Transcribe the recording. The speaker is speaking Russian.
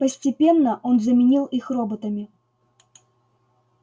постепенно он заменил их роботами